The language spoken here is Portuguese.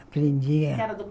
Aprendia. Que era